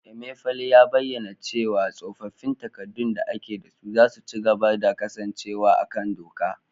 Emefiele ya bayyana cewa tsofaffin takardun da ake da su za su ci gaba da kasancewa a kan doka